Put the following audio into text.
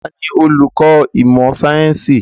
Taàní olùkọ́ ìmọ̀ sayẹ́nsi?